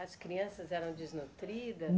As crianças eram desnutridas?